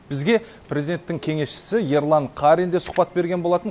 бізге президенттің кеңесшісі ерлан қарин де сұхбат берген болатын